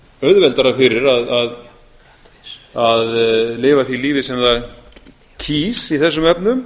auðveldara fyrir að lifa því lifi sem það kýs í þessum